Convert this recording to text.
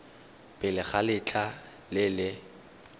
pele ga letlha le le